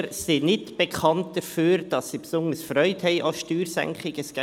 Denn Politiker sind nicht bekannt dafür sind, dass sie besonders Freude an Steuersenkungen haben.